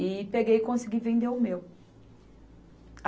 E peguei e consegui vender o meu.